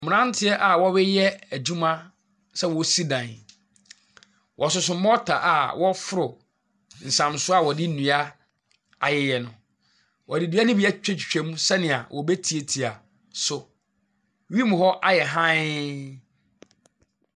Mmranteɛ a wɔreyɛ adwuma sɛ wɔresi dan. Wɔsoso malta a wɔreforo nsam so a wɔde nnua ayɛ no. Wɔde dua no bi atwi twa mu sɛnea wɔbetiatia so. Wim hɔ ayɛ hann.